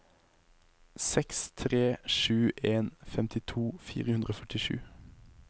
seks tre sju en femtito fire hundre og førtisju